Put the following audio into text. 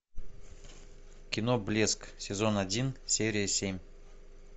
кино блеск сезон один серия семь